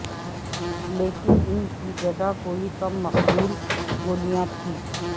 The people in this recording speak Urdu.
لیکن ان کی جگہ کوئی کم مقبول گولیاں تھی